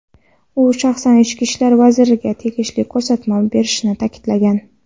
u shaxsan Ichki ishlar vaziriga tegishli ko‘rsatma berishini ta’kidlagan.